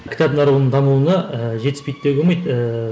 кітап нарығының дамуына ііі жетіспейді деуге болмайды ііі